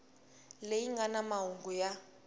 leyi nga na mahungu ya